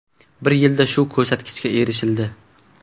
Bir yilda shu ko‘rsatkichga erishildi.